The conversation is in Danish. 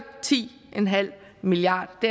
ti en halv milliard